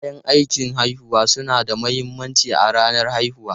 Kayan aikin haihuwa suna da mahimmanci a ranar haihuwa.